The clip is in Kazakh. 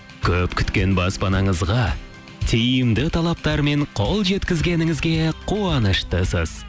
көп күткен баспанаңызға тиімді талаптармен қол жеткізгеніңізге қуаныштысыз